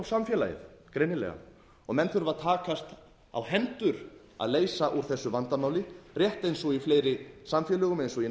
samfélagið greinilega menn þurfa að takast á hendur að leysa úr þessu vandamáli rétt eins og í fleiri samfélögum eins og ég